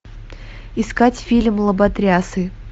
искать фильм лоботрясы